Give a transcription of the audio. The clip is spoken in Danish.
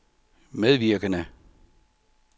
medvirkende